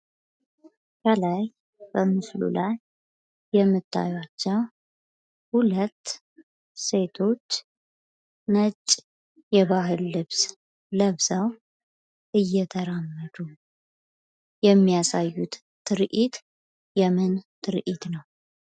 ከላይ በምስሉ ላይ የምታዯቸው ሁለት ሴቶች ነጭ የባህል ልብስ ለብሰው እየተራመዱ የሚያሳዩት ትርኢት የምን ትርኢት ነው?